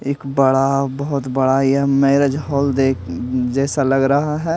एक बड़ा बहुत बड़ा ये मैरेज हॉल देख जैसा लग रहा है।